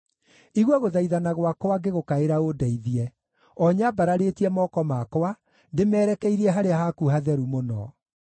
Igua gũthaithana gwakwa ngĩgũkaĩra ũndeithie, o nyambararĩtie moko makwa ndĩmerekeirie harĩa haku Hatheru-Mũno.